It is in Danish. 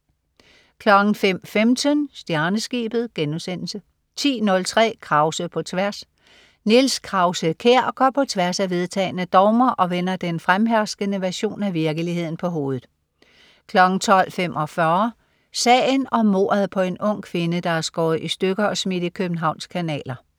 05.15 Stjerneskibet* 10.03 Krause på tværs. Niels Krause-Kjær går på tværs af vedtagne dogmer og vender den fremherskende version af virkeligheden på hovedet 12.45 Kanalmorderen. Sagen om mordet på en ung kvinde, der er skåret i stykker og smidt i Københavns kanaler